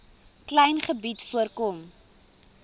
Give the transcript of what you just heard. klein gebied voorkom